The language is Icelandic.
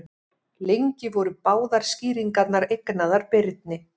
Lengi voru báðar skýringarnar eignaðar Birni.